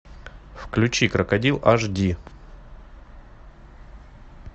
включи крокодил аш ди